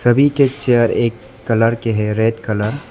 सभी के चेयर एक कलर के है रेड कलर --